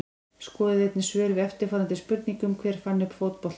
Skoðið einnig svör við eftirfarandi spurningum Hver fann upp fótboltann?